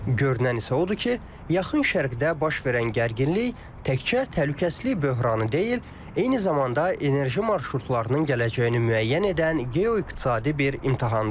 Görünən isə odur ki, Yaxın Şərqdə baş verən gərginlik təkcə təhlükəsizlik böhranı deyil, eyni zamanda enerji marşrutlarının gələcəyini müəyyən edən geo-iqtisadi bir imtahandır.